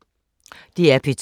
DR P2